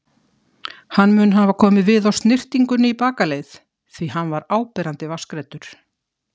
Hann mun hafa komið við á snyrtingunni í bakaleið, því hann er áberandi vatnsgreiddur.